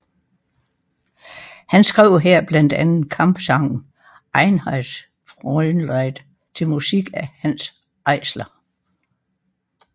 Han skrev her blandt andet kampsangen Einheitsfrontlied til musik af Hanns Eisler